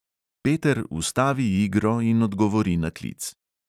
Peter ustavi igro in odgovori na klic.